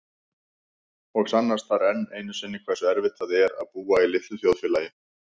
Og sannast þar enn einu sinni hversu erfitt það er að búa í litlu þjóðfélagi.